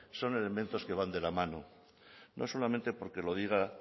son elementos que van de la mano no solamente porque lo diga